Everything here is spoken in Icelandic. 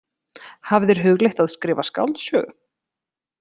Hafið þér hugleitt að skrifa skáldsögu?